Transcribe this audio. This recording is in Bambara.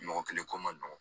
Mɔgɔ kelen ko ma nɔgɔn